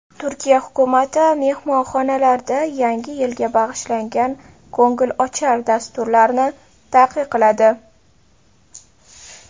Turkiya hukumati mehmonxonalarda Yangi yilga bag‘ishlangan ko‘ngilochar dasturlarni taqiqladi.